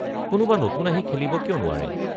কোনোবা নতুন আহি খেলিব কিয় নোৱাৰে?